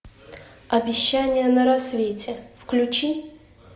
обещание на рассвете включи